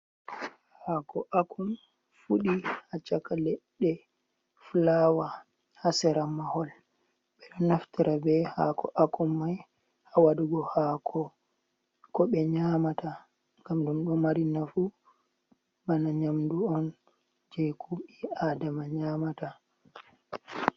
Hako akun fudi ha chaka ledde flawa, ha sera mahol, ɓeɗo naftira ɓe ha ko akun mai ha waɗugo ko be nyamata ngam ɗum do mari nafu bana nyamdu on je ko ɓii adama nyamata.